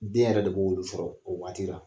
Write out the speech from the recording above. Den yɛrɛ de b'olu sɔrɔ o waati la .